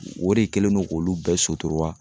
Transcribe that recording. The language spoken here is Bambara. O de kɛlen do k'olu bɛɛ sutura.